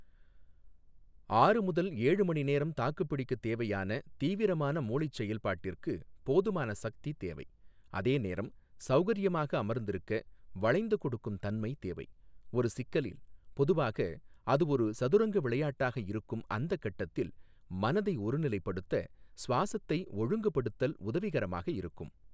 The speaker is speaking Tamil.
ஆறு முதல் ஏழு மணி நேரம் தாக்குப்பிடிக்கத் தேவையான தீவிரமான மூளைச் செயல்பாட்டிற்கு போதுமான சக்தி தேவை, அதே நேரம் சௌகரியமாக அமர்ந்திருக்க, வளைந்து கொடுக்கும் தன்மை தேவை, ஒரு சிக்கலில், பொதுவாக அது ஒரு சதுரங்க விளையாட்டாக இருக்கும், அந்தக் கட்டத்தில் மனதை ஒருநிலைப்படுத்த சுவாஸத்தை ஒழுங்குபடுத்தல் உதவிகரமாக இருக்கும்.